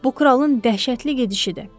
Bu kralın dəhşətli gedişidir.